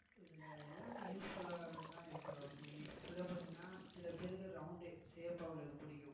இதுல எல்லாமே useful ஆதான் இருக்கும் ரோஷிணி சில பேருக்கு round shape ஆ உள்ளது பிடிக்கும் சில